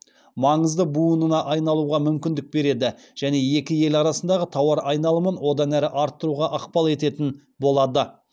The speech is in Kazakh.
маңызды буынына айналуға мүмкіндік береді және екі ел арасындағы тауар айналымын одан әрі арттыруға ықпал ететін болады